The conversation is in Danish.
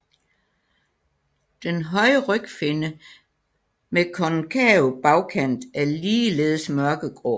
Den høje rygfinne med konkav bagkant er ligeledes mørkegrå